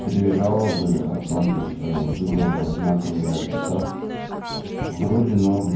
три жалобы о том то что выдала одинаковые адреса вроде норм